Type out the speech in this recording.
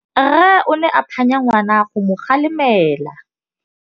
Rre o ne a phanya ngwana go mo galemela.